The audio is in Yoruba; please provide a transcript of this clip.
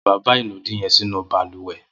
Mò fi bàbá inùdí yèn sinú bàlùwẹ̀